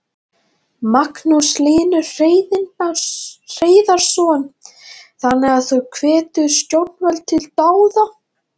Magnús Hlynur Hreiðarsson: Þannig að þú hvetur stjórnvöld til dáða?